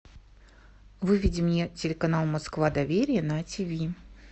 выведи мне телеканал москва доверия на тв